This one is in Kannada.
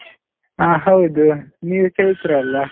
ಅಹ್ ಹೌದು, ನೀವು ಚೈತ್ರ ಅಲ್ಲ?